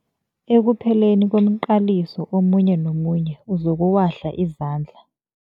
Ekupheleni komqaliso omunye nomunye uzokuwahla izandla.